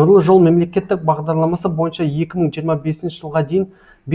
нұрлы жол мемлекеттік бағдарламасы бойынша екі мың жиырма бесінші жылға дейін